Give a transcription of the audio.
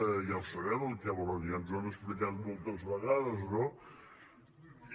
ja ho sabem el que volen ja ens ho han explicat moltes vegades no i